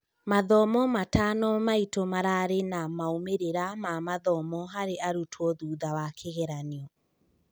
Mathomo matano maitu mararĩ na moimĩrĩra ma mathomo harĩ arutwo thutha wa kĩgeranio